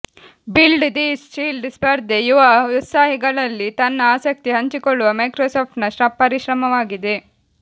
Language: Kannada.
ಬಿಲ್ಡ್ ದಿ ಶೀಲ್ಡ್ ಸ್ಪರ್ಧೆ ಯುವ ಉತ್ಸಾಹಿಗಳಲ್ಲಿ ತನ್ನ ಆಸಕ್ತಿ ಹಂಚಿಕೊಳ್ಳುವ ಮೈಕ್ರೊಸಾಫ್ಟ್ನ ಪರಿಶ್ರಮವಾಗಿದೆ